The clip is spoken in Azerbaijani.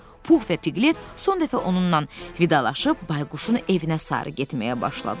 Pux və Piqlet son dəfə onunla vidalaşıb Bayquşun evinə sarı getməyə başladılar.